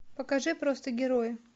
покажи просто герои